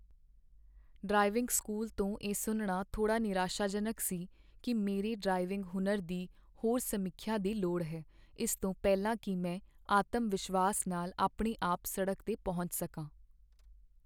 driving school ਤੋਂ ਇਹ ਸੁਣਨਾ ਥੋੜ੍ਹਾ ਨਿਰਾਸ਼ਾਜਨਕ ਸੀ ਕਿ ਮੇਰੇ ਡ੍ਰਾਈਵਿੰਗ ਹੁਨਰ ਦੀ ਹੋਰ ਸਮੀਖਿਆ ਦੀ ਲੋੜ ਹੈ ਇਸ ਤੋਂ ਪਹਿਲਾਂ ਕੀ ਮੈਂ ਆਤਮ ਵਿਸ਼ਵਾਸ ਨਾਲ ਆਪਣੇ ਆਪ ਸੜਕ 'ਤੇ ਪਹੁੰਚ ਸਕਾਂ